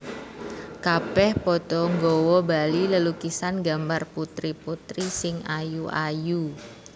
Kabèh padha nggawa bali lelukisan gambar putri putri sing ayu ayu